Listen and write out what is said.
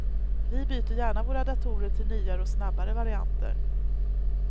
Vi byter gärna våra datorer till nyare och snabbare varianter.